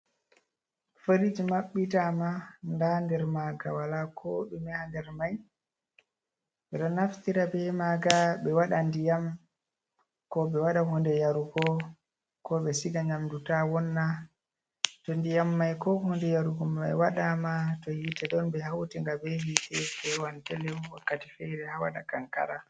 Farij maɓɓita ma ndan nder maaga wala ko ɗume ha nder mai, ɓe ɗo naftira be maaga ɓe wada ndiyam ko ɓe waɗa hunde yarugo ko ɓe siga nyamdu ta wonna, to ndiyam mai ko hunde yarugo mai waɗama to hiite don ɓe hauti nga be hiite fewan delem wakkati feere ha waɗa kankara.